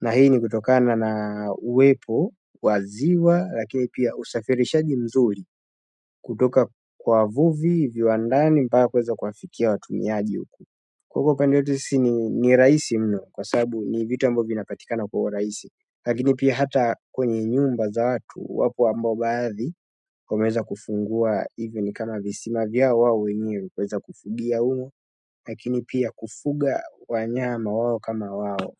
na hii ni kutokana na uwepo waziwa lakini pia usafirishaji mzuri kutoka kwa wavuvi viwandani mpaka kuweza kuwafikia watumiaji huku huku upande wetu sisi ni rahisi mno kwa sabu ni vitu ambavyo vinapatikana kwa urahisi lakini pia hata kwenye nyumba za watu wapo ambao baadhi wameweza kufungua even kama visima vyao wao wenyewe kuweza kufugia humo lakini pia kufuga wanyama wao kama wao.